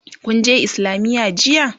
kunje islamiya jiya?